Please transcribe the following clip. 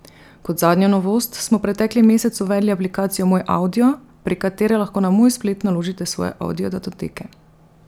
Kot zadnjo novost smo pretekli mesec uvedli aplikacijo Moj avdio, prek katere lahko na Moj splet naložite svoje avdiodatoteke.